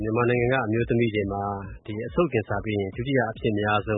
မြန်မာနိုင်ငံက အမျိုးသမီးတွေမှာ သားအိမ်ခေါင်းကင်ဆာက ဒုတိယ အဖြစ်အများဆုံ